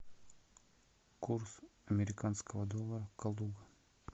курс американского доллара калуга